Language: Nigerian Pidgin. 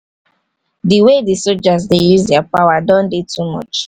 the way the soldiers dey use their power don dey too much